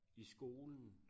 I skolen